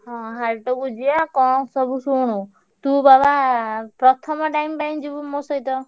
ହଁ ହାଟକୁ ଯିବା କଣ ସବୁ ଶୁଣୁ ତୁ ବାବା ପ୍ରଥମ time ପାଇଁ ଯିବୁ ମୋ ସହିତ।